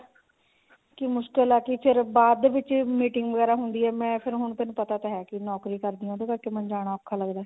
ਕਿ ਮੁਸ਼ਕਿਲ ਆ ਕਿ ਚਲ ਬਾਅਦ ਦੇ ਵਿੱਚ meeting ਵਗੈਰਾ ਹੁੰਦੀ ਆ ਮੈਂ ਹੁਣ ਤੈਨੂੰ ਪਤਾ ਤਾਂ ਹੈ ਕਿ ਨੋਕਰੀ ਕਰਦੀ ਆ ਉਹਦੇ ਕਰਕੇ ਮੈਨੂੰ ਜਾਣਾ ਔਖਾ ਲੱਗਦਾ